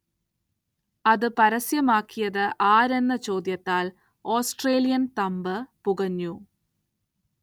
അത് പരസ്യമാക്കിയത് ആരെന്ന ചോദ്യത്താൽ ഓസ്ട്രേലിയൻ തമ്പ് പുകഞ്ഞു.